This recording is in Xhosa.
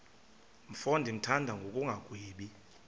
mfo ndimthanda ngokungagwebi